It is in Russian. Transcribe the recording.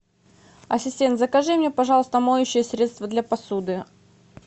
ассистент закажи мне пожалуйста моющее средство для посуды